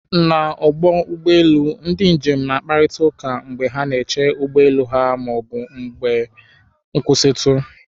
N'ọdụ ụgbọ elu, ndị njem na-akparịta ụka mgbe ha na-eche ụgbọ elu ha ma ọ bụ n'oge nkwụsịtụ.